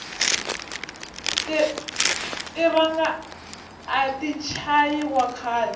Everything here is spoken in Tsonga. tiranga ati chayi wa khale